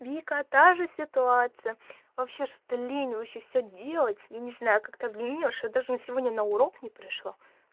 вика та же ситуация вообще что-то лень вообще все делать и не знаю как-то лень что даже сегодня на урок не пришла